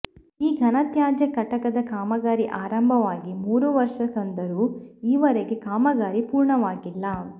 ಈ ಘನತ್ಯಾಜ್ಯ ಘಟಕದ ಕಾಮಗಾರಿ ಆರಂಭವಾಗಿ ಮೂರು ವರ್ಷ ಸಂದರೂ ಈವರೆಗೆ ಕಾಮಗಾರಿ ಪೂರ್ಣವಾಗಿಲ್ಲ